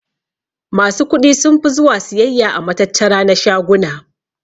Masu kuɗi sunfi zuwa siyayya a matattara na shaguna.